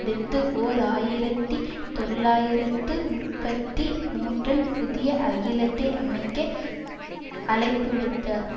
அடுத்து ஓர் ஆயிரத்தி தொள்ளாயிரத்து முப்பத்தி மூன்றில் புதிய அகிலத்தை அமைக்க அழைப்புவிடுத்தார்